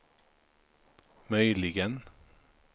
möjligen